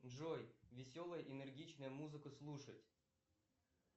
джой веселая энергичная музыка слушать